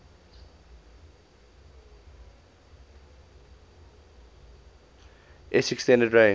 s extended range